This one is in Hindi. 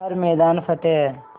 हर मैदान फ़तेह